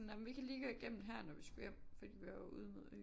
Nej men vi kan lige gå igennem her når vi skulle hjem fordi det var jo ud imod Øen